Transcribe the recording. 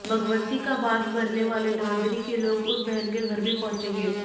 भगवंती के भात भरने वाले नांदरी के लोग उस बहन के घर भी पहुंचेंगे